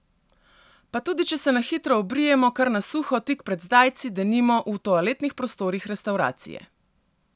Pa tudi če se na hitro obrijemo kar na suho tik pred zdajci, denimo, v toaletnih prostorih restavracije!